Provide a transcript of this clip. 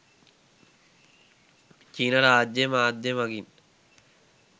චීන රාජ්‍ය මාධ්‍යය මගින්